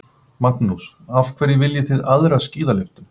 Magnús: Af hverju viljið þið aðra skíðalyftu?